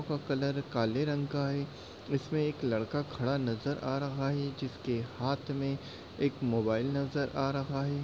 Colour काले रंग का है इसमें एक लड़का खड़ा नजर आ रहा है। जिसके हाथ में एक मोबाईल नजर आ रहा है।